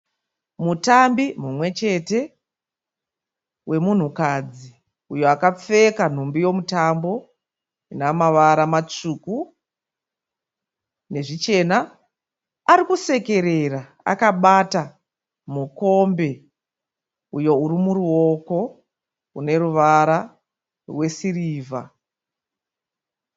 Mutambi mumwe chete wemunhukadzi uyo akapfeka nhumbi yomitambo ine mavara matsvuku nezvichena. Ari kusekerera akabata mukombe uyo uri muruoko une ruvara rwesirivha.